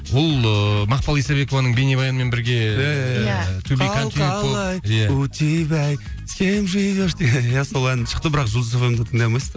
ол ы мақпал исабекованың бейнебаянымен бірге иә иә иә қал қалай у тебя с кем живешь деген ән иә сол ән шықты бірақ жұлдыз эф эм де тыңдай алмайсыздар